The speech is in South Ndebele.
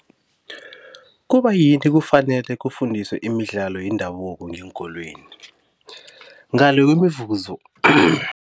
Kubayini kufanele kufundiswe imidlalo yendabuko ngeenkolweni ngale kwemivuzo